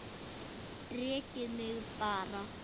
Rekið mig bara!